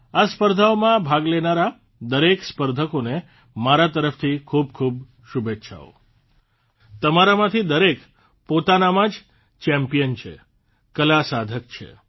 આ સ્પર્ધાઓમાં ભાગ લેનારા દરેક સ્પર્ધકોને મારા તરફથી ખૂબ ખૂબ શુભેચ્છાઓ તમારામાંથી દરેક પોતાનામાં જ ચેમ્પિયન છે કલાસાધક છે